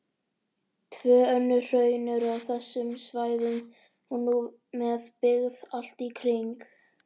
Tvö önnur hraun eru á þessum svæðum og nú með byggð allt í kring.